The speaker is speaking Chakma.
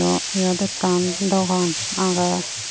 awh yot ekkan dogan agey.